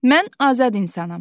Mən azad insanam.